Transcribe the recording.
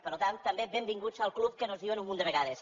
per tant també benvinguts al club que nos diuen un munt de vegades